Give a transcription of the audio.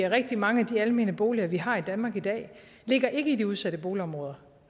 rigtig mange af de almene boliger vi har i danmark i dag ligger ikke i de udsatte boligområder